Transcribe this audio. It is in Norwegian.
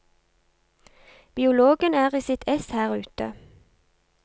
Biologen er i sitt ess her ute.